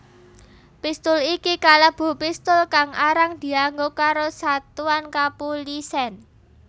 Pistul iki kalebu pistul kang arang dianggo karo satuan kapulisèn